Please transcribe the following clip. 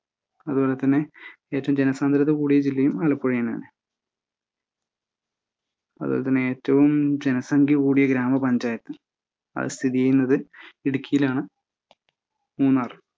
അതുപോലെതന്നെ ഏറ്റവും ജനസാന്ദ്രത കൂടിയ ജില്ലയും ആലപ്പുഴതന്നെയാണ്. അതുപോലെതന്നെ ഏറ്റവും ജനസംഖ്യ കൂടിയ ഗ്രാമപഞ്ചയാത്ത്‌ അത് സ്ഥിതി ചെയ്യുന്നത് ഇടുക്കിയിലാണ്. മൂന്നാറ്